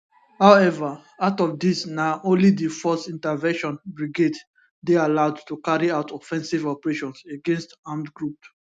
however out of these na only di force intervention brigade dey allowed to carry out offensive operations against armed groups